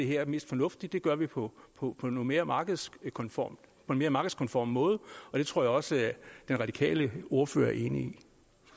her mest fornuftigt det gør vi på på en mere markedskonform mere markedskonform måde og det tror jeg også den radikale ordfører er enig